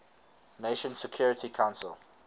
nations security council